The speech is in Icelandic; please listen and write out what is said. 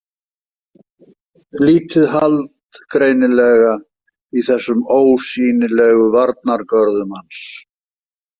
Lítið hald greinilega í þessum ósýnilegu varnargörðum hans.